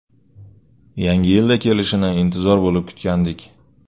Yangi yilda kelishini intizor bo‘lib kutgandik.